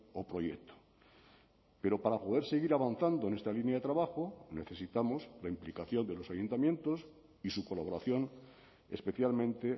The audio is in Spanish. o proyecto pero para poder seguir avanzando en esta línea de trabajo necesitamos la implicación de los ayuntamientos y su colaboración especialmente